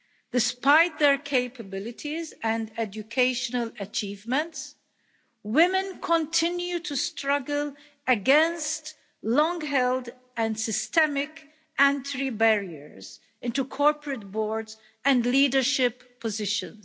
Despite their capabilities and educational achievements, women continue to struggle against long held and systemic entry barriers into corporate boards and leadership positions.